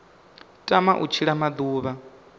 a tamaho u tshila maḓuvha